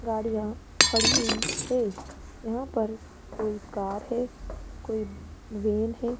गाड़ियां खड़ी हुई है यहां पर कोई है कोई वैन है।